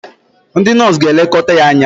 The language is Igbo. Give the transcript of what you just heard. ndị nọọsụ ga-elekọta ya anya